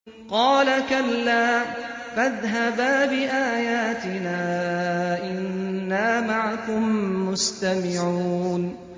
قَالَ كَلَّا ۖ فَاذْهَبَا بِآيَاتِنَا ۖ إِنَّا مَعَكُم مُّسْتَمِعُونَ